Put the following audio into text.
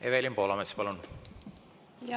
Evelin Poolamets, palun!